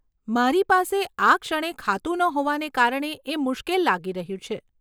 મારી પાસે આ ક્ષણે ખાતું ન હોવાને કારણે એ મુશ્કેલ લાગી રહ્યું છે.